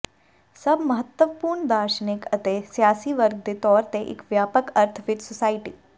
ਸਭ ਮਹੱਤਵਪੂਰਨ ਦਾਰਸ਼ਨਿਕ ਅਤੇ ਸਿਆਸੀ ਵਰਗ ਦੇ ਤੌਰ ਤੇ ਇੱਕ ਵਿਆਪਕ ਅਰਥ ਵਿਚ ਸੁਸਾਇਟੀ